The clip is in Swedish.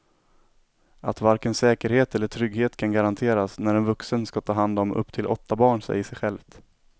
Att varken säkerhet eller trygghet kan garanteras när en vuxen ska ta hand om upp till åtta barn säger sig självt.